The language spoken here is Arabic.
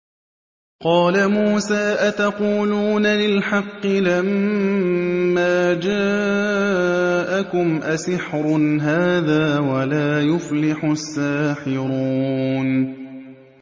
قَالَ مُوسَىٰ أَتَقُولُونَ لِلْحَقِّ لَمَّا جَاءَكُمْ ۖ أَسِحْرٌ هَٰذَا وَلَا يُفْلِحُ السَّاحِرُونَ